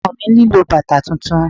Ọmọ mi nílò bàtà tuntun.